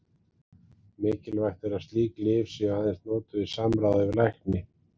Mikilvægt er að slík lyf séu aðeins notuð í samráði við lækni.